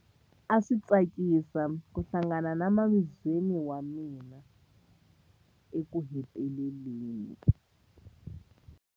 A swi tsakisa ku hlangana na mavizweni wa mina ekuheteleleni.